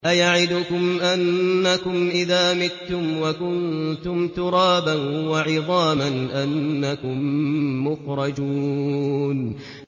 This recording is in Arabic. أَيَعِدُكُمْ أَنَّكُمْ إِذَا مِتُّمْ وَكُنتُمْ تُرَابًا وَعِظَامًا أَنَّكُم مُّخْرَجُونَ